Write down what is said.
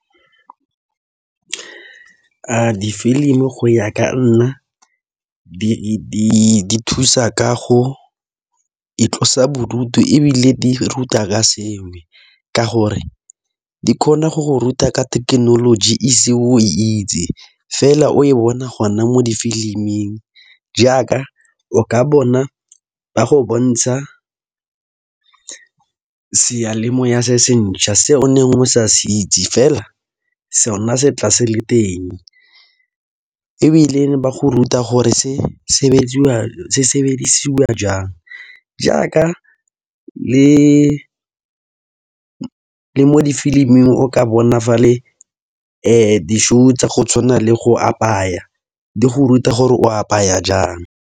Di filimi go ya ka nna di thusa ka go itlosa bodutu, ebile di ruta ka sengwe. Ka gore di kgona go go ruta ka thekenoloji e se o itse, fela o e bona go na mo difiliming. Jaaka o ka bona ba go bontsha seyalemoya se se ntšha se ne o sa se itse, fela so na se tla se le teng. Ebile ba go ruta gore se sebediswa jang, jaaka le mo difilimi o ka bona fa le di-show tsa go tshwana le go apaya di go ruta gore o apaya jang.